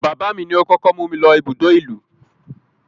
Bàbáà mi ni ó kókó mú mi lọ ibùdó ìlú.